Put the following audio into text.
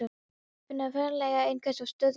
Finna fyrir faðmlagi einhvers og stuðningi.